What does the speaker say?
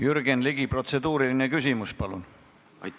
Jürgen Ligi, protseduuriline küsimus, palun!